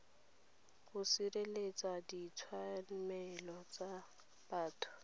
bo sireletsang ditshiamelo tsa batho